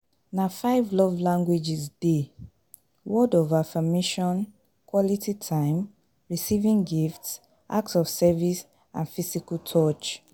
Na five love languages dey: words of affirmation, quality time, receiving gifts, acts of service and physical touch.